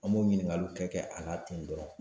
An m'o ɲiningaliw kɛ kɛ a la ten dɔrɔn